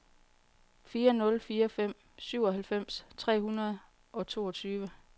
fire nul fire fem syvoghalvfems tre hundrede og toogtyve